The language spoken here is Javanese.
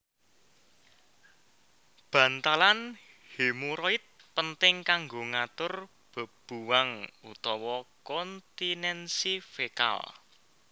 Bantalan hemoroid penting kanggo ngatur bebuwang utawa kontinensi fekal